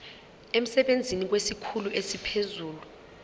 emsebenzini kwesikhulu esiphezulu